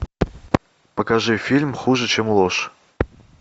покажи фильм хуже чем ложь